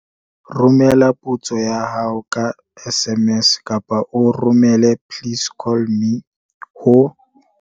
Romela potso ya hao ka SMS kapa o romele 'please call me' ho